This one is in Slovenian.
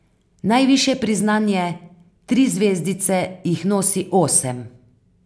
Najvišje priznanje, tri zvezdice, jih nosi osem.